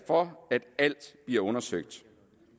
for at alt bliver undersøgt